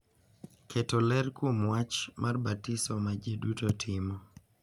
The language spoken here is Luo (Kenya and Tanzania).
Keto ler kuom wach mar batiso ma ji duto timo.